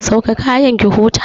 Sauke kayanki ki huta!